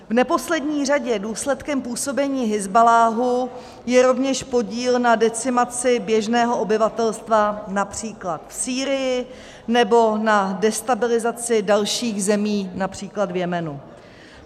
V neposlední řadě důsledkem působení Hizballáhu je rovněž podíl na decimaci běžného obyvatelstva, například v Sýrii, nebo na destabilizaci dalších zemí, například v Jemenu.